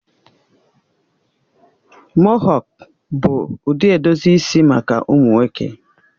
Mohọk bụ ụdị edozi isi maka ụmụ nwoke